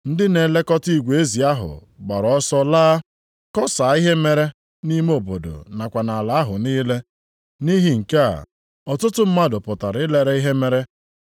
Ndị na-elekọta igwe ezi ahụ gbaara ọsọ laa, kọsaa ihe mere nʼime obodo nakwa nʼala ahụ niile. Nʼihi nke a, ọtụtụ mmadụ pụtara ilere ihe mere.